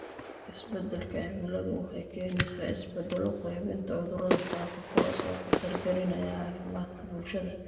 Isbeddelka cimiladu waxay keenaysaa isbeddelo qaybinta cudurrada faafa, kuwaas oo khatar gelinaya caafimaadka bulshada.